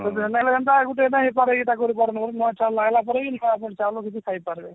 ହେଟା ହେଲେ କେନ୍ତା ଗୁଟେ ହେଇନ ପାରେ ନୂଆ ଚଉଲ ଆଇଲା ପରେ ବି ନୂଆ ଚାଉଲ ଖାଇପାରିବନ